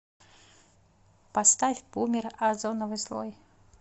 поставь бумер озоновый слой